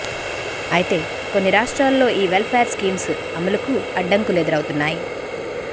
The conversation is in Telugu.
అయితే కొన్ని రాష్ట్రాల్లో ఈ వెల్ఫేర్ స్కీమ్స్ అమలుకు అడ్డంకులు ఎదురవుతున్నాయి